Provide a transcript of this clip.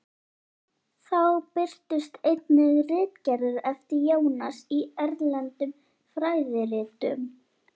Þá birtust einnig ritgerðir eftir Jónas í erlendum fræðiritum.